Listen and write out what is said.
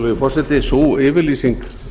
virðulegi forseti sú yfirlýsing